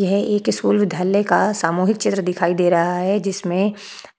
यह एक स्कूल विद्यालय का सामूहिक चित्र दिखाई दे रहा है जिसमे